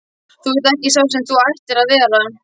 Þú ert ekki sá sem þú ættir að vera.